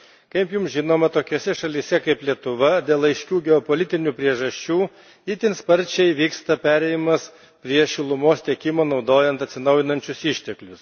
Kaip jums žinoma, tokiose šalyse kaip Lietuva, dėl aiškių geopolitinių priežasčių, itin sparčiai vyksta perėjimas prie šilumos tiekimo naudojant atsinaujinančius išteklius.